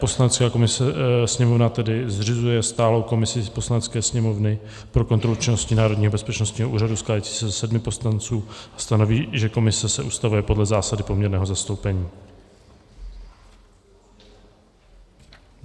Poslanecká sněmovna tedy zřizuje stálou komisi Poslanecké sněmovny pro kontrolu činnosti Národního bezpečnostního úřadu skládající se ze sedmi poslanců a stanoví, že komise se ustavuje podle zásady poměrného zastoupení.